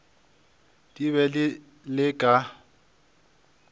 di be di le ka